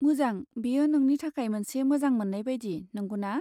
मोजां, बेयो नोंनि थाखाय मोनसे मोजांमोन्नाय बायदि, नंगौना?